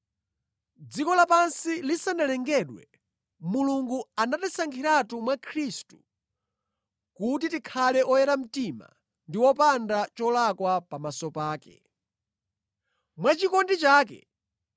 Dziko lapansi lisanalengedwe, Mulungu anatisankhiratu mwa Khristu kuti tikhale oyera mtima ndi wopanda cholakwa pamaso pake. Mwa chikondi chake,